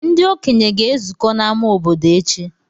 Ndị okenye ga-ezukọ n’ámá obodo echi.